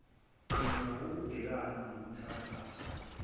qhinga wukubhekana nobuthakathaka